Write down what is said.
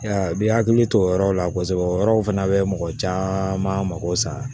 A bi hakili to o yɔrɔ la kosɛbɛ o yɔrɔw fana bɛ mɔgɔ caman mago sa